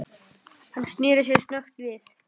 Hann sneri sér snöggt við.